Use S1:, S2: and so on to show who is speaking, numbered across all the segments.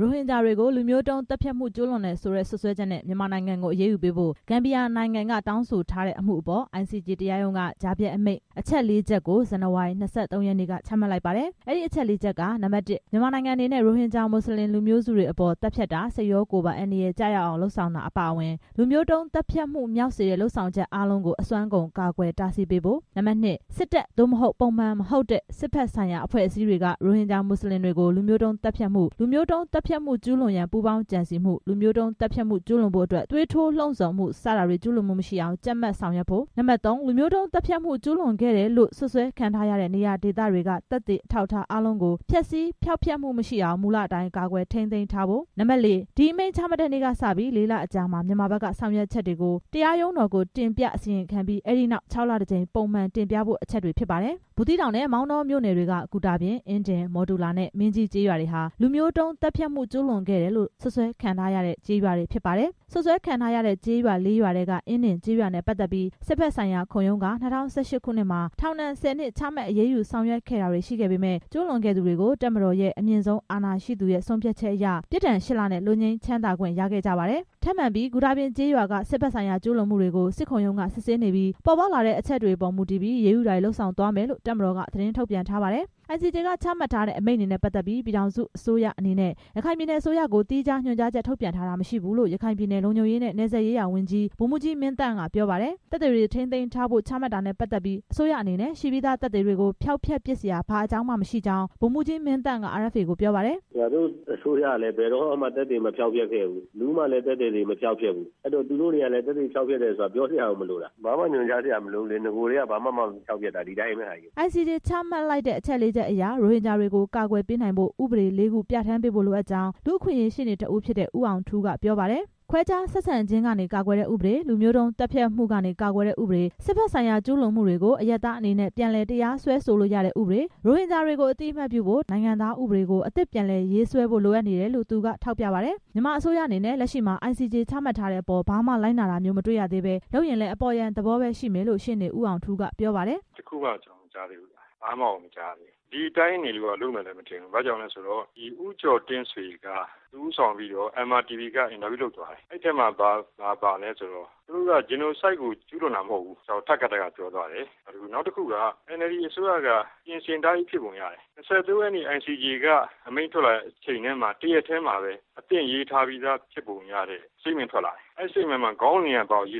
S1: ရိုဟင်ဂျာတွေကို လူမျိုးတုံးသတ်ဖြတ်မှု ကျူးလွန်တယ်ဆိုတဲ့ စွပ်စွဲချက်နဲ့ မြန်မာနိုင်ငံကို အရေးယူပေးဖို့ ဂမ်ဘီယာနိုင်ငံက တောင်းဆိုထားတဲ့အမှုအပေါ် ICJ တရားရုံးက ကြားဖြတ်အမိန့် အချက် လေးချက်ကို ဇန်နဝါရီ ၂၃ ရက်နေ့က ချမှတ်လိုက်ပါတယ်။ အဲဒီအချက် လေးချက်က (၁) မြန်မာနိုင်ငံအနေနဲ့ ရိုဟင်ဂျာ မွတ်စလင်လူမျိုးစုတွေအပေါ် သတ်ဖြတ်တာ၊ စိတ်ရောကိုယ်ပါ အန္တရာယ်ကျရောက်အောင် လုပ်ဆောင်တာ အပါအဝင်၊ လူမျိုးတုံးသတ်ဖြတ်မှုမြောက်စေတဲ့ လုပ်ဆောင်ချက်အားလုံးကို အစွမ်းကုန် ကာကွယ်တားဆီးပေးဖို့၊ (၂) စစ်တပ် (သို့မဟုတ်) ပုံမှန်မဟုတ်တဲ့ စစ်ဘက်ဆိုင်ရာ အဖွဲ့အစည်းတွေက ရိုဟင်ဂျာ မွတ်စလင်တွေကို လူမျိုးတုံးသတ်ဖြတ်မှု၊ လူမျိုးတုံးသတ်ဖြတ်မှု ကျူးလွန်ရန် ပူးပေါင်းကြံစည်မှု၊ လူမျိုးတုံးသတ်ဖြတ်မှု ကျူးလွန်ဖို့အတွက် သွေးထိုးလှုံ့ဆော်မှု စတာတွေ ကျုးလွန်မှုမရှိအောင် ကြပ်မတ် ဆောင်ရွက်ဖို့၊ (၃) လူမျိုးတုံးသတ်ဖြတ်မှု ကျုးလွန်ခဲ့တယ်လို့ စွပ်စွဲခံထားရတဲ့ နေရာဒေသတွေက သက်သေအထောက်အထား အားလုံးကို ဖျက်ဆီးဖျောက်ဖျက်မှုမရှိအောင် မူလအတိုင်း ကာကွယ်ထိန်းသိမ်းထားဖို့ (၄) ဒီအမိန့် ချမှတ်တဲ့နေ့ကစပြီး လေးလအကြာမှာ မြန်မာဘက်က ဆောင်ရွက်ချက်တွေကို တရားရုံးတော်ကို တင်ပြအစီရင်ခံပြီး၊ အဲဒီနောက် ခြောက်လတစ်ကြိမ် ပုံမှန်တင်ပြဖို့ အချက်တွေဖြစ်ပါတယ်။ ဘူးသီးတောင်နဲ့ မောင်တောမြို့နယ်တွေ ဂူတာပြင်၊ အင်းဒင်၊ မော်တူလာနဲ့ မင်းကြီးကျေးရွာဟာ လူမျိုးတုံးသတ်ဖြတ်မှု ကျူးလွန်ခဲ့တယ်လို့ စွပ်စွဲခံထားရတဲ့ ကျေးရွာတွေဖြစ်ပါတယ်။ စွပ်စွဲခံထားရတဲ့ကျေးရွာလေးရွာထဲက အင်းဒင်ကျေးရွာနဲ့ ပတ်သက်ပြီး စစ်ဘက်ဆိုင်ရာ ခုံရုံးက ၂၀၁၈ ခုနှစ်မှာ ထောင်ဒဏ် ၁၀နှစ် ချမှတ်အရေးယူ ဆောင်ရွက်ခဲ့တာတွေရှိခဲ့ပေမယ့် ကျူးလွန်ခဲ့သူတွေကို တပ်မတော်ရဲ့ အမြင့်ဆုံးအာဏာရှိသူရဲ့ ဆုံးဖြတ်ချက်အရ ပြစ်ဒဏ် ရှစ်လနဲ့ လွတ်ငြိမ်းချမ်းသာခွင့် ရခဲ့ကြပါတယ်။ ထပ်မံပြီး ဂူတာပြင်ကျေးရွာက စစ်ဘက်ဆိုင်ရာ ကျူးလွန်မှုတွေကို စစ်ခုံရုံးက စစ်ဆေးနေပြီး ပေါ်ပေါက်လာတဲ့အချက်တွေပေါ် မူတည်ပြီး အရေးယူတာတွေ လုပ်ဆောင်သွားမယ်လို့ တပ်မတော်က သတင်းထုတ်ပြန်ထားပါတယ်။ ICJ ချမှတ်ထားတဲ့ အမိန့်နဲ့ပတ်သက်ပြီး ပြည်ထောင်စုအစိုးရအနေနဲ့ ရခိုင်ပြည်နယ် အစိုးရကို သီးခြားညွှန်ကြားချက် ထုတ်ပြန်တာမရှိသေးဘူးလို့ ရခိုင်ပြည်နယ် လုံခြုံရေးနဲ့ နယ်စပ်ရေးရာဝန်ကြီး ဗိုလ်မှူးကြီး မင်းသန်းက ပြောပါတယ်။ သက်သေတွေ ထိန်းသိမ်းဖို့ ချမှတ်တာနဲ့ပတ်သက်ပြီး အစိုးရအနေနဲ့ ရှိပြီးသားသက်သေတွေကို ဖျောက်ဖျက်ပစ်စရာ ဘာအကြောင်းမှမရှိကြောင်း ဗိုလ်မှူးကြီး မင်းသန်းက RFA ကို ပြောပါတယ်
S2: ။ ရခိုင်ပြည်နယ် လုံခြုံရေးနဲ့ နယ်စပ်ရေးရာဝန်ကြီး ဗိုလ်မှူးကြီး မင်းသန်း“ငါတို့အစိုးရက ဘယ်တော့မှ သက်သေမဖျောက်ဖျက်ဘူး၊ ဘယ်သူမှလည်း သက်သေမဖျောက်ဖျက်ဘူး၊ အဲတော့သူတို့ကလည်း သက်သေမဖျောက်ဖျက်ဖို့ ပြောစရာကို မလိုတာ၊ ဘာမှညွှန်ကြားစရာ မလိုဘူးလေ၊ နဂိုထဲက ဘာမှဖျောက်ဖျက်တာမှ မဟုတ်တာ ဒီတိုင်းပဲ”
S1: ICJ ချမှတ်လိုက်တဲ့ အချက်လေးချက်အရ ရိုဟင်ဂျာတွေကို ကာကွယ်ပေးနိုင်ဖို့ ဥပဒေ လေးခု ပြဌာန်းပေးဖို့ လိုအပ်ကြောင်း လူ့အခွင့်အရေး ရှေ့နေတစ်ဦးဖြစ်တဲ့ ဦးအောင်ထူးက ပြောပါတယ်။ ခွဲခြားဆက်ဆံခြင်းကနေ ကာကွယ်တဲ့ဥပဒေ၊ လူမျိုးတုံးသတ်ဖြတ်မှုမှ ကာကွယ်တဲ့ဥပဒေ၊ စစ်ဘက်ဆိုင်ရာ ကျူးလွန်မှုတွေကို အရပ်သားအနေနဲ့ ပြန်လည်တရားစွဲဆိုလို့ရတဲ့ ဥပဒေ၊ ရိုဟင်ဂျာတွေကို အသိအမှတ်ပြုဖို့ ၁၉၈၂ နိုင်ငံသားဥပဒေကို အသစ်ပြန်လည်ရေးဆွဲဖို့ လိုအပ်နေတယ်လို့ သူက ထောက်ပြပါတယ်။ မြန်မာအစိုးရအနေနဲ့ လက်ရှိမှာ ICJ ချမှတ်ထားတဲ့အပေါ် ဘာမှလိုက်နာတာမျိုး မတွေ့ရသေးဘဲ လုပ်ရင်လည်း အပေါ်ယံသဘောပဲရှိမယ်လို့ ရှေ့နေ ဦးအောင်ထူးက ပြောပါတယ်။ “ဘ
S3: ာမှ ကျနော်မကြားသေးဘူး၊ ဒီတိုင်းဆိုရင်လည်း လုပ်မယ်မထင်ဘူး၊ ဦးကျော်တင့်ဆွေကို MRTV က အင်တာဗျူးလုပ်တယ်။ အဲမှာ သူတို့က ဂျီနိုဆိုက် ကျူးလွန်တာမဟုတ်ဘူးလို့ ထပ်ကာထပ်ကာ ပြောသွားတယ်။ နောက်တစ်ခုက NLD အစိုးရက ပြင်ဆင်ထားပြီးဖြစ်ပုံရတယ်၊ ၂၃ ရက်နေ့ ICJ အမိန့်ချတဲ့နေ့မှာ အသင့်ရေးထားပြီးသား ဖြစ်ပုံရတဲ့ စတိတ်မန့်ထွက်လာတယ်။ အဲဒီမှာ ခေါင်းစဉ်က ဂျီ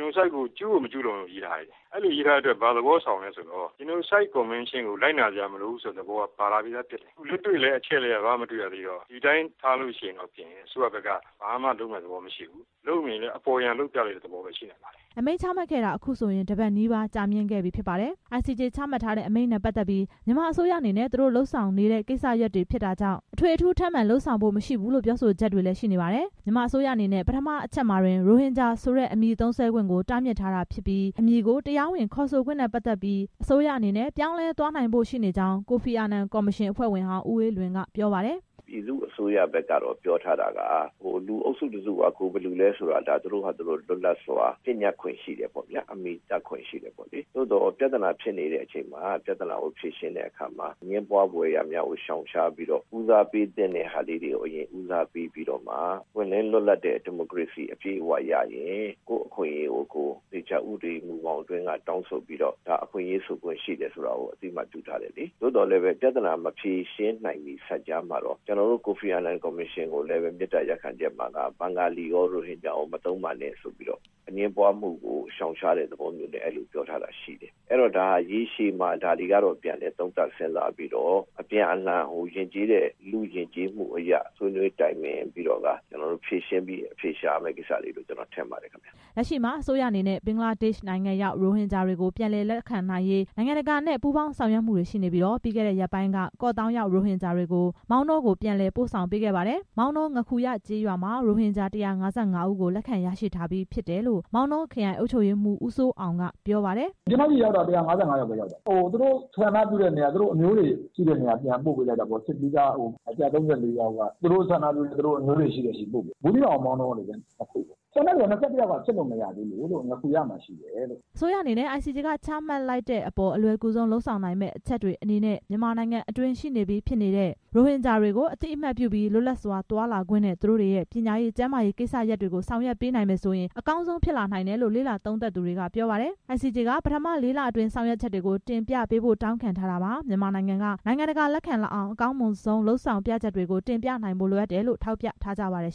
S3: နိုဆိုက်ကို ကျုးကို မကျူးလွန်ဘူးလို့ ရေးထားတယ်။ အဲဒါကိုကြည့်ရင် ဂျီနိုဆိုက်ကွန်ဗန်းရှင်းကို လိုက်နာစရာမလိုဘူးလို့ သဘောပါလာပုံရတယ်။ လက်တွေ့လည်း အချက်အလက်အရ ဘာမှမတွေ့တော့ ဒီတိုင်းထားရင် အစိုးရအနေနဲ့ ဘာမှလုပ်မယ့်ပုံမပေါ်ဘူး၊ လုပ်ရင်လည်း အပေါ်ယံသဘောပဲဖြစ်မယ်”
S1: အမိန့်ချမှတ်ခဲ့တာ အခုဆိုရင် တစ်ပတ်နီးပါး ကြာမြင့်ခဲ့ပြီဖြစ်ပါတယ်။ ICJ ချမှတ်ခဲ့တဲ့ အမိန့်နဲ့ပတ်သက်ပြီး မြန်မာအစိုးရအနေနဲ့ သူတို့လုပ်ဆောင်နေတဲ့ ကိစ္စရပ်တွေဖြစ်တာကြောင့် အထွေအထူး ထပ်မံလုပ်ဆောင်စရာ မရှိဘူးလို့ ပြောဆိုချက်တွေ ရှိနေပါတယ်။ မြန်မာအစိုးရအနေနဲ့ ပထမအချက်မှာတင် ရိုဟင်ဂျာဆိုတဲ့ အမည်သုံးစွဲခွင့်ကို တားမြစ်ထားတာဖြစ်ပြီး အမည်ကို တရားဝင်ခေါ်ဆိုခွင့်နဲ့ ပတ်သက်ပြီး အစိုးရအနေနဲ့ ပြောင်းလဲသွားနိုင်ဖို့ ရှိနေကြောင်း ကိုဖီအာနန်ကော်မရှင် အဖွဲ့ဝင်ဟောင်း ဦးအေးလွင်က ပြောပါတယ်။ ကိုဖီအာနန်ကော်မရှင် အဖွဲ့ဝ
S2: င်ဟောင်း ဦးအေးလွင် “ပြည်သူ့အစိုးရဘက်က ပြောထားတာက လူအုပ်စုတစ်စုက သူတို့ကိုယ်သူတို့ လွတ်လပ်စွာ အမည်တပ်ခွင့်ရှိတယ်။ သို့သော် ပြဿနာဖြစ်နေချိန်မှာ ပြဿနာဖြေရှင်းတဲ့အခါမှာ အငြင်းပွားဖွယ် ကိစ္စရပ်တွေကို ရှောင်ရှားပြီး ဦးစားပေးရမှာဟာတွေကို ဦးစားပေးပြီးမှ ပွင့်လင်းလွတ်လပ်တဲ့ ဒီမိုကရေစီ အပြည့်အဝရရင် ကိုယ့်အခွင့်အရေးကို ဥပဒေအတွင်းက တောင်းဆိုခွင့်ပြုတယ်လို့ အသိအမှတ်ပြုထားတယ်။ ပြဿနာမဖြေရှင်းနိုင်မီမှာ ကျနော်တို့ ကိုဖီအာနန် ကော်မရှင်ကိုလည်း ရိုဟင်ဂျာရော ဘင်္ဂလီရောမသုံးဖို့ အငြင်းပွားမှုကို ရှောင်ရှားဖို့ ပြောထားတယ်။ ဒါက ရေရှည်မှာ ပြန်လည်သုံးသပ်စဉ်းစားပြီး လူ့ယဉ်ကျေးမှုအရ ဖြေရှင်းအဖြေရှာရမယ် ထင်ပါတယ်” လ
S1: က်ရှိမှာ အစိုးရအနေနဲ့ ဘင်္ဂလားဒေ့ရှ်နိုင်ငံရောက် ရိုဟင်ဂျာတွေ ပြန်လည်လက်ခံနိုင်ရေးကို နိုင်ငံတကာနဲ့ ပူးပေါင်းဆောင်ရွက်မှုတွေရှိနေပြီး ပြီးခဲ့တဲ့ရက်ပိုင်းက ကော့သောင်းရောက် ရိုဟင်ဂျာတွေကို မောင်တောကို ပြန်လည်ပို့ဆောင်ပေးခဲ့ပါတယ်။ မောင်တော ငါးခူရကျေးရွာမှာ ရိုဟင်ဂျာ ၁၅၅ ဦးကို လက်ခံရရှိထားပြီး ဖြစ်တယ်လို့ မောင်တောခရိုင် အုပ်ချုပ်ရေးမှူး ဦးစိုးအောင်က ပြောပါတယ်။ “ကျနော်ဆီ ၁၅၅ ယောက် ရောက်တယ်၊ သူတို့အမ
S2: ျိုးတွေရှိတဲ့ ဆန္ဒပြုတဲ့နေရာတွေကို ၁၃၄ ယောက် ပို့လိုက်တယ်၊ ဘူးသီးတောင်၊ မောင်တော နှစ်နေရာကို ကျန်
S1: တဲ့ ၂၁ ယောက်ကတော့ စစ်လို့မပြီးသေးဘူး” အစိုးရအနေနဲ့ ICJ က ချမှတ်လိုက်တဲ့အပေါ် အလွယ်ကူဆုံး လုပ်ဆောင်နိုင်မယ့် အချက်တွေအနေနဲ့ မြန်မာနိုင်ငံတွင်း ရှိနေပြီးဖြစ်တဲ့ ရိုဟင်ဂျာတွေကို အသိအမှတ်ပြုပြီး လွတ်လပ်စွာသွားလာခွင့်နဲ့ သူတို့တွေရဲ့ ပညာရေး၊ ကျမ်းမာရေးကိစ္စတွေကို ဆောင်ရွက်ပေးနိုင်မယ်ဆိုရင် အကောင်းဆုံး ဖြစ်လာနိုင်တယ်လို့ လေ့လာသုံးသပ်သူတွေက ပြောပါတယ်။ ICJ က ပထမ လေးလတွင်း ဆောင်ရွက်ချက်တွေကို တင်ပြပေးဖို့ တောင်းခံထားတာမှာ မြန်မာကို နိုင်ငံတကာ လက်ခံလာအောင် အစိုးရအနေနဲ့ အကောင်းမွန်ဆုံးလုပ်ဆောင်ပြချက်တွေကို တင်ပြနိုင်ဖို့ လိုအပ်တယ်လို့ ထောက်ပြကြပါတယ်